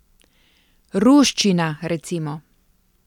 Ruščina, recimo!